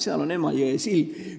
Seal on Emajõe sild.